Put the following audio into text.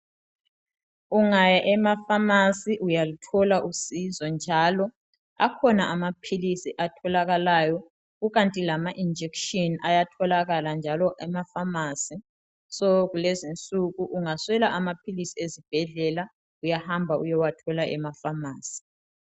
Ungaya emaPharmacy uyaluthola usizo njalo akhona amaphilisi atholakalayo kukanti lama injection ayatholakala njalo emaPharmacy. So kulezinsuku ungaswela amaphilisi ezibhedlela uyahamba uyewathola emaPharmacy.